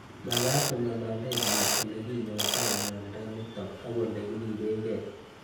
Mag'at ko ng'alale piik ole kinyoitoi miondo nitok ak ole kiripekei